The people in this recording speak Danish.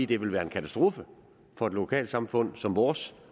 det vil være en katastrofe for et lokalsamfund som vores